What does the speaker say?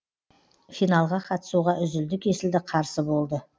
финалға қатысуға үзілді кесілді қарсы болды